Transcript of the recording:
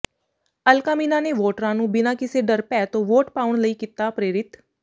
ਅਲਕਾ ਮੀਨਾ ਨੇ ਵੋਟਰਾਂ ਨੂੰ ਬਿਨਾਂ ਕਿਸੇ ਡਰ ਭੈਅ ਤੋਂ ਵੋਟ ਪਾਉਣ ਲਈ ਕੀਤਾ ਪ੍ਰੇਰਿਤ